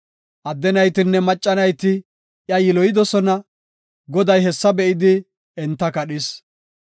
Adde naytinne macca nayti iya yiloyidosona; Goday hessa be7idi enta kadhis.